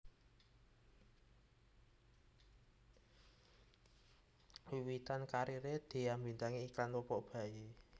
Wiwitan kariré Dhea mbintangi iklan popok bayi